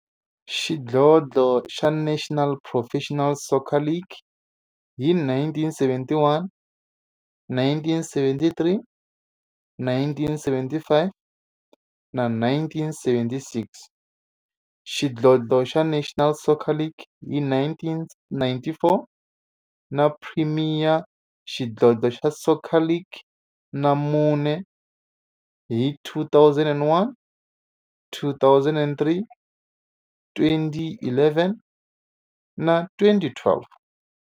Xidlodlo xa National Professional Soccer League hi 1971, 1973, 1975 na 1976, xidlodlo xa National Soccer League hi 1994, na Premier Xidlodlo xa Soccer League ka mune, hi 2001, 2003, 2011 na 2012.